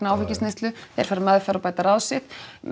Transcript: áfengisneyslu þeir fara í meðferð og bæta ráð sitt